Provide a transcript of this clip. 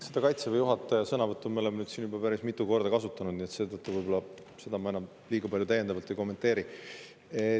Seda Kaitseväe juhataja sõnavõttu me oleme siin juba päris mitu korda kasutanud, nii et seetõttu ma seda enam liiga palju täiendavalt ei kommenteeri.